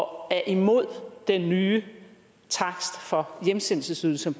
og er imod den nye takst for hjemsendelsesydelsen